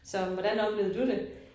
Så hvordan oplevede du det?